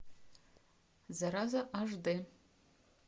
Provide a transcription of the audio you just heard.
зараза аш д